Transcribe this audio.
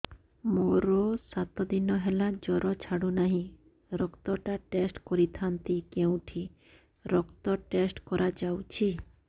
ମୋରୋ ସାତ ଦିନ ହେଲା ଜ୍ଵର ଛାଡୁନାହିଁ ରକ୍ତ ଟା ଟେଷ୍ଟ କରିଥାନ୍ତି କେଉଁଠି ରକ୍ତ ଟେଷ୍ଟ କରା ଯାଉଛି